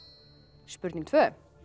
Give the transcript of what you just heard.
spurning tvö